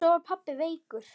Svo var pabbi veikur.